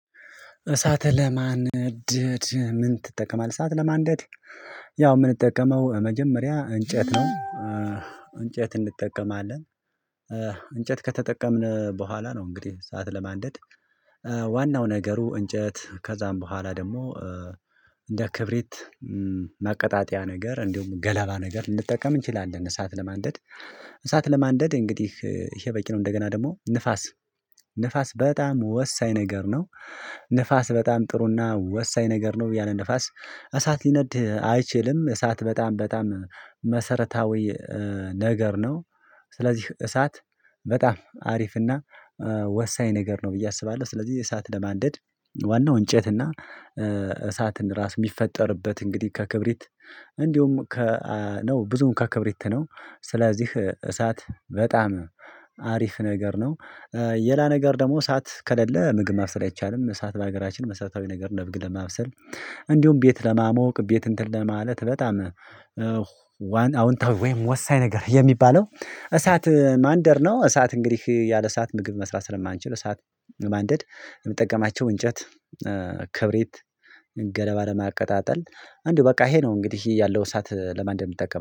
እሳት ለማንደድ ምን ትጠቀማለህ? እሳት ለማንደድ ያው የምንጠቀመው መጀመሪያ እንጨት ነው። እንጨት እንጠቀማለን። እንጨት ከተጠቀምን በኋላ ነው እንግዲህ ሰዓት ለማንደድ። ዋናው ነገሩ እንጨት ከዛም በኋላ ደግሞ እንደ ክብሪት ማቀጣጠያ ነገር እንዲሁም ገለባ ነገር ልንጠቀም እንችላለን። እሳት ለማንደድ እሳት ለማንደድ እንግዲህ ይሄ በቂ ነው። እንደገና ደግሞ ንፋስ ንፋስ በጣም ወሳኝ ነገር ነው። ንፋስ በጣም ጥሩና ወሳኝ ነገር ነው ያለ ንፋስ እሳት ሊነድህ አይችልም እሳት በጣም በጣም ነገር ነው። ስለዚህ እሳት በጣም አሪፍና ወሳኝ ነገር ነው ብዬ አስባለሁ። ስለዚህ የእሳት ለማንደድ ዋናው እንጨት እና እሳትን ራስ የሚፈጠርበት እንግዲህ ከክብሪት እንዲሁም ከ ነው ብዙም ከክብሪት ነው። ስለዚህ እሳት በጣም አሪፍ ነገር ነው። የላ ነገር ደግሞ እሳት ከሌለ ምግብ ማብሰል አይቻልም። እሳት በሀገራችን መሰረታዊ ነገር ለመብሰል እንዲሁም ቤት ለማሞቅ ቤት እንትን ለማለት በጣም ዋን አውንታ ወይም ወሳኝ ነገር የሚባለው እሳት ማንደር ነው። እሳት እንግዲህ ያለ እሳት ምግብ መስራት ስለማንችል ሰዓት ለማንደድ የምጠቀማቸው እንጨት ክብሬት ገለባ ለማቀጣጠል አንዲሁ በቃ ይሄ ነው። እንግዲህ ይሄ ያለው እሳት ለማን እንደምጠቀም